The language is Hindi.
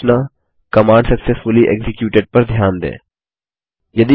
सूचना कमांड सक्सेसफुली एक्जिक्यूटेड पर ध्यान दें